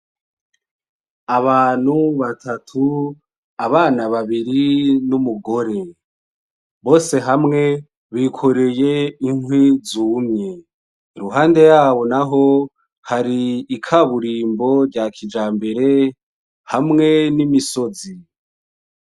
Abantu batatu, abana babiri n'umugore, bose hamwe bikoreye inkwi zumye, iruhande yabo naho hari ikaburimbo rya kijambere hamwe n'imisozi.